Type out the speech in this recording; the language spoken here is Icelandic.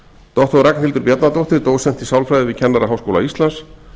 doktor ragnhildur bjarnadóttir dósent í sálfræði við kennaraháskóla íslands